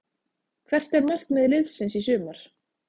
Hvert er markmið liðsins í sumar?